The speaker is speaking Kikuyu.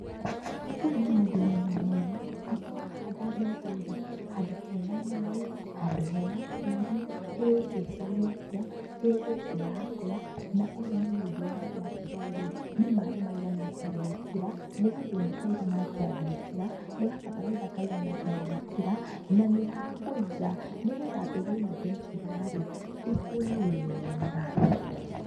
Ũyũ nĩ mũndũ wĩ na ũmenyo, atĩ wahanda mbegũ-rĩ handũ he na maaĩ, handũ he na tĩĩri ĩgwĩciria atĩa? Igũkũra atia? na ũyũ nĩ mũndũ ũramenya atĩrĩrĩ, nĩ maaĩ maigana atĩa ngwĩkĩra, nĩ gathumu kaiga atĩa ngwĩkĩra, nĩ gabataraitha kaigana atĩa ngwĩkĩra, na nĩ ha ngũiga, nĩgetha mbegũ ĩno ndekĩra-rĩ ikũre wega.